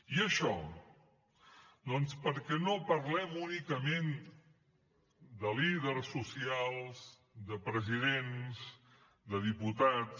i això doncs perquè no parlem únicament de líders socials de presidents de diputats